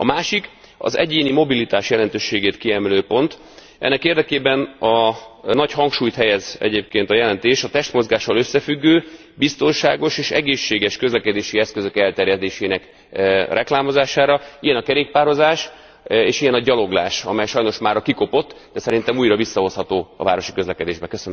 A másik az egyéni mobilitás jelentőségét kiemelő pont, ennek érdekében egyébként nagy hangsúlyt helyez a jelentés a testmozgással összefüggő, biztonságos és egészséges közlekedési eszközök elterjedésének reklámozására ilyen a kerékpározás, és ilyen a gyaloglás, amely sajnos mára kikopott, de szerintem újra visszahozható a városi közlekedésbe.